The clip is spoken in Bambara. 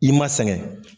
I ma sɛgɛn